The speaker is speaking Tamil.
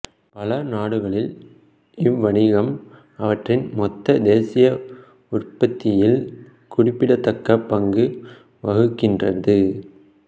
பல நாடுகளில் இவ்வணிகம் அவற்றின் மொத்த தேசிய உற்பத்தியில் குறிப்பிடத்தக்க பங்கு வகிக்கின்றது